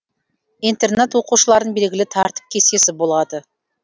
интернат оқушыларын белгілі тәртіп кестесі болады